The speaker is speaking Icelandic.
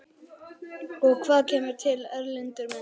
Og hvað kemur til, Erlendur minn?